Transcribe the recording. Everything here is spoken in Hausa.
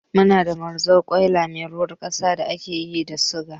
Muna da mazarkwaila mai ruwar kasa da ake yi daga suga